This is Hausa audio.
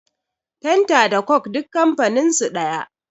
fenta da coke duk kamfaninsu daya